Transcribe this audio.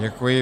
Děkuji.